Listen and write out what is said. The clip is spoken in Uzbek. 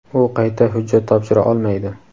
u qayta hujjat topshira olmaydi.